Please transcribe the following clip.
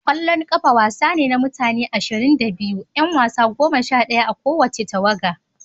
Ƙwallon kafa wasa ne na mutane ashirin da biyu, 'yan wasa goma sha daya a kowace tawaga.